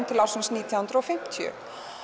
til ársins nítján hundruð og fimmtíu